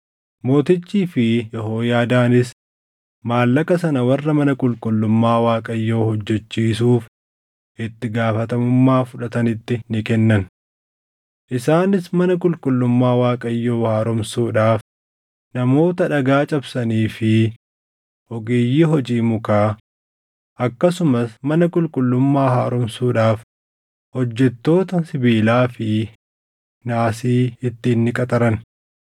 Mootichii fi Yehooyaadaanis maallaqa sana warra mana qulqullummaa Waaqayyoo hojjechiisuuf itti gaafatamummaa fudhatanitti ni kennan. Isaanis mana qulqullummaa Waaqayyoo haaromsuudhaaf namoota dhagaa cabsanii fi ogeeyyii hojii mukaa, akkasumas mana qulqullummaa haaromsuudhaaf hojjettoota sibiilaa fi naasii ittiin ni qaxaran.